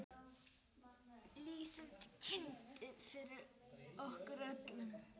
Lýsandi kyndill fyrir okkur öll.